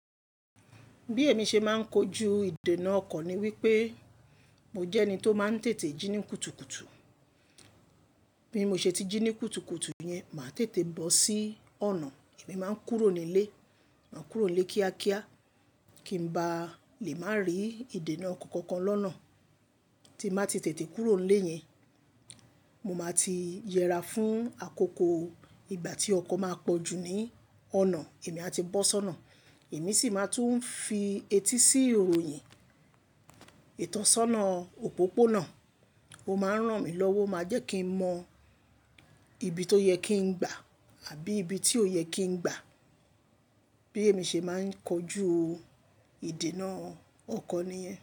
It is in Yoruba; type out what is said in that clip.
Bí èmi ṣe máa ń kojú ìdènà ọkọ ni wípé mo jẹ́ ẹni tó máa ń tètè jí ní kùtùkùtù. Bí mo ṣe ti jí ní kùtùkùtù yẹn, màá tètè bọ́ sí ọ̀nà. Èmi máa ń kúrò nílé. Mà á kúrò nílé kíákíá kí ń ba lè má rí ìdènà ọkọ kokan lọ́nà. Tí n bá ti tètè kúrò nílé yẹn, mo máa ti yẹra fún àkókò ìgbà tí ọkọ máa pọ̀ jù ní ọ̀nà. Èmi a ti bọ́ sọ́nà, èmi sì máa tún ń fi etí sí ìròyìn ìtọ́sọ́nà òpópónà. Ó máa ń ràn mí lọ́wọ́, máa jẹ́ kí n mọ ibi tó yẹ kí n gba àbí ibi tí ò yẹ kí n gba. Bí èmi ṣe máa ń kojú ìdènà ọkọ nìyẹn.